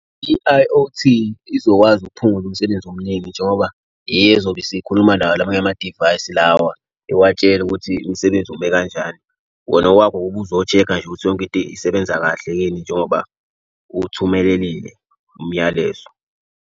I-I_O_T izokwazi ukuphungula umsebenzi omningi njengoba iyo ezobe isikhuluma nawo lawa amanye amadivayisi lawa. Iwatshele ukuthi umsebenzi ume kanjani. Wena okwakho ubuzochekha nje ukuthi yonke into isebenza kahle yini njengoba uthumelelile umyalezo.